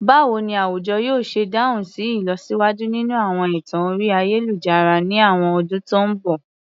Báwo ni àwùjọ yóò ṣe dáhùn sí ìlọsíwájú nínú àwọn ẹ̀tàn orí ayélujára ní àwọn ọdún tó ń bọ̀?